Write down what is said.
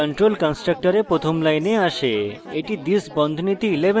control কন্সট্রকটরে প্রথম line আসে